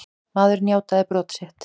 Maðurinn játaði brot sitt.